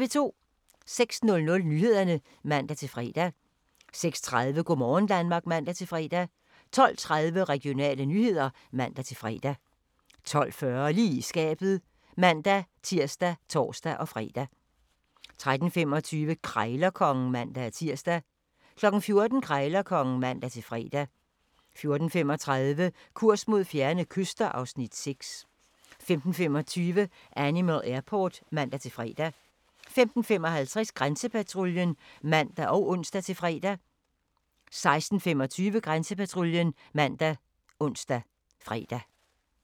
06:00: Nyhederne (man-fre) 06:30: Go' morgen Danmark (man-fre) 12:30: Regionale nyheder (man-fre) 12:40: Lige i skabet (man-tir og tor-fre) 13:25: Krejlerkongen (man-tir) 14:00: Krejlerkongen (man-fre) 14:35: Kurs mod fjerne kyster (Afs. 6) 15:25: Animal Airport (man-fre) 15:55: Grænsepatruljen (man og ons-fre) 16:25: Grænsepatruljen ( man, ons, fre)